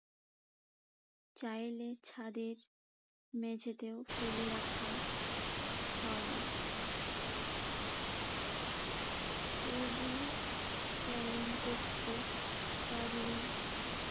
চাইলে ছাদের মেঝেতেও ফেলে রাখা হয়। ক্যালেং করতে পারলে